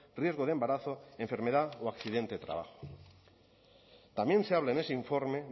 riesgo de embarazo enfermedad o accidente de trabajo también se habla en ese informe